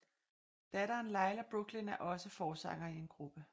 Datteren Layla Brooklyn er også forsanger i en gruppe